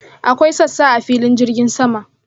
Akwai sassa a filin jirgin sama.